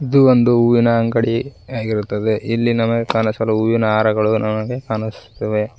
ಇದು ಒಂದು ಹೂವಿನ ಅಂಗಡಿಗೆ ಯಾಗಿರುತ್ತದೆ ಇಲ್ಲಿ ನಮಗೆ ಕಾಣಿಸಲು ಹೂವಿನ ಹಾರಗಳು ನನಗೆ ಕಾಣಿಸುತ್ತಿವೆ.